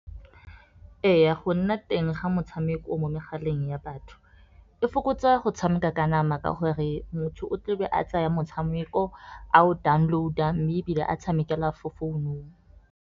Ee, go nna teng ga metshameko mo megaleng ya batho e fokotsa go tshameka ka nama. Ka gore motho o tlebe a tsaya motshameko a o download-a mme ebile a tshamekela fo founung.